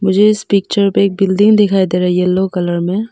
मुझे इस पिक्चर पे एक बिल्डिंग दिखाई दे रही येलो कलर में।